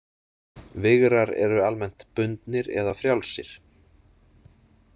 Vigrar eru almennt bundnir eða frjálsir.